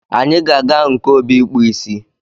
Anyị ga-aga nke Obi ịkpụ ịsị